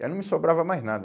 Aí não me sobrava mais nada.